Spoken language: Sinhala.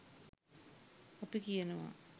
අපි කියනවා